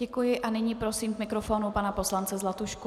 Děkuji a nyní prosím k mikrofonu pana poslance Zlatušku.